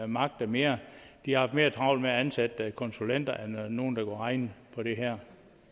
magtet mere de har haft mere travlt med at ansætte konsulenter end nogle der kan regne på det her